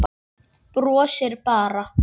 Brosir bara.